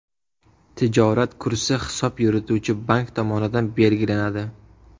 Tijorat kursi hisob yurituvchi bank tomonidan belgilanadi.